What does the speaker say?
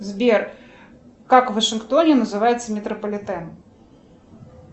сбер как в вашингтоне называется метрополитен